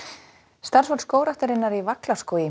starfsfólk Skógræktarinnar í